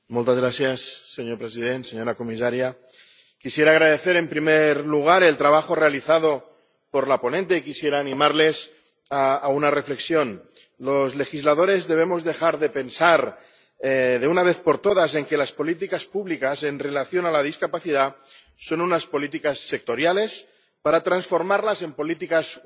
Señor presidente, señora comisaria, quisiera agradecer, en primer lugar, el trabajo realizado por la ponente y quisiera animarles a una reflexión. Los legisladores debemos dejar de pensar, de una vez por todas, que las políticas públicas en relación con la discapacidad son unas políticas sectoriales, para transformarlas en políticas universales.